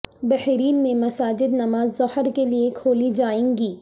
بحرین میں مساجد نماز ظہر کے لیے کھولی جائیں گی